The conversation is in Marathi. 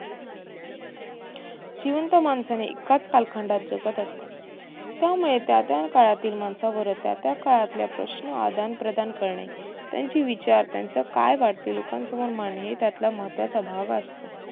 जिवंत माणसे एकाच कालखंडात जगत असतात. त्यामुळे त्या त्या काळातील माणसावर त्या त्या काळातील प्रश्न आदण प्रदान करणे. त्यांचे विचार त्यांच काय वाटते? लोकांसमोर मांडणे हे त्यातला महत्तवाचा भाग असतो.